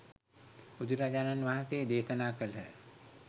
බුදුරජාණන් වහන්සේ දේශනා කළහ.